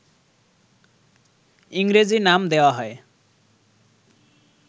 ইংরেজি নাম দেওয়া হয়